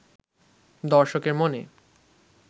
দর্শকের মনে